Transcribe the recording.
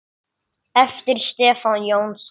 eftir Stefán Jónsson